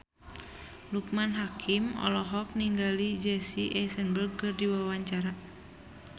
Loekman Hakim olohok ningali Jesse Eisenberg keur diwawancara